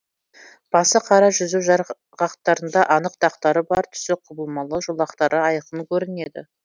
басы қара жүзу жарғақтарында анық дақтары бар түсі құбылмалы жолақтары айқын көрінеді